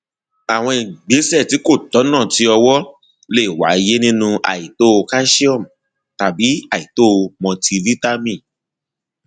àwọn ìgbésẹ tí kò tọnà ti ọwọ lè wáyé nínú àìtó calsium tàbí àìtó multivitamin